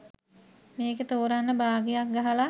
මේක තෝරන්න බාගයක් ගහලා